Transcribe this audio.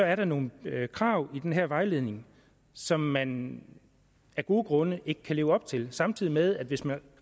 er der nogle krav i den her vejledning som man af gode grunde ikke kan leve op til samtidig med at hvis man